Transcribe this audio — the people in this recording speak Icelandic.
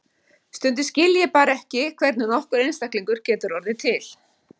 Stundum skil ég bara ekki hvernig nokkur einstaklingur getur orðið til.